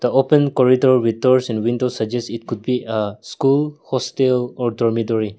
the open corridor with doors and windows suggest it could be uh school hostel or dormitory.